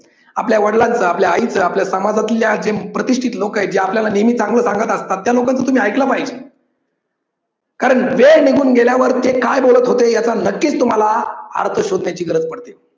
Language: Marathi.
आपल्या वडिलांचा, आपल्या आईचा, आपल्या समाजातल्या जे प्रतिष्ठित लोक आहेत जे आपल्याला नेहमी चांगलं सांगत असतात. त्या लोकांच तुम्ही ऐकलं पाहिजे कारण वेळ निघून गेल्यावर ते काय बोलत होते याचा याचा नक्कीच तुम्हाला अर्थ शोधण्याची गरज पडते.